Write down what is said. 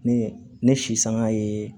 Ne ne sisanga ye